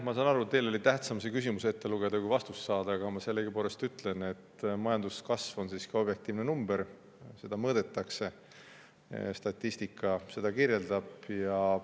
Ma saan aru, et teile oli tähtsam see küsimus ette lugeda, kui vastust saada, aga ma sellegipoolest ütlen, et majanduskasv on siiski objektiivne number, seda mõõdetakse, statistika seda kirjeldab.